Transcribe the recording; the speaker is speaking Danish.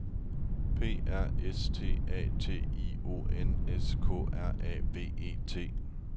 P R Æ S T A T I O N S K R A V E T